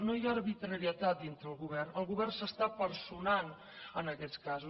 no hi ha arbitrarietat dintre el govern el govern s’està personant en aquests casos